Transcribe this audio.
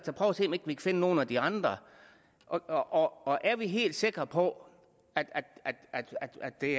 se nogle af de andre og og er vi helt sikre på at det